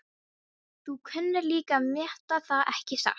Þú kunnir líka að meta það, ekki satt?